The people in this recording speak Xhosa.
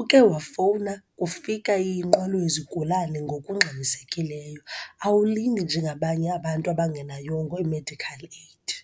Uke wafowuna, kufika inqwelo yezigulana ngokungxamisekileyo. Awulindi nje ngabanye abantu abangenayongo i-medikhal eyidi.